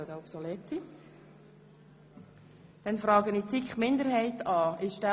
Dort war einigen von Ihnen meine Abstimmungsfrage nicht klar.